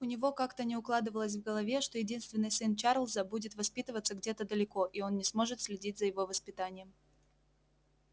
у него как-то не укладывалось в голове что единственный сын чарлза будет воспитываться где-то далеко и он не сможет следить за его воспитанием